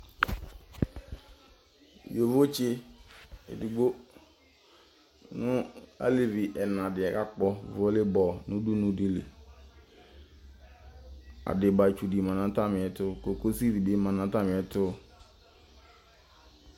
Yovotsɩ edigbo nʋ alevi ɛna dɩ akpɔ vole bɔl nʋ udunu dɩ li, adɩbatsu dɩ ma nʋ atamɩ ɛtʋ, kokosi dɩ bɩ ma nʋ atamɩ ɛtʋ